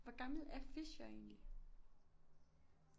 Hvor gammel er Fischer egentlig